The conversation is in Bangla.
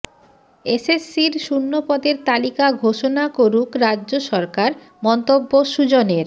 এসএসসির শুন্যপদের তালিকা ঘোষণা করুক রাজ্য সরকার মন্তব্য সুজনের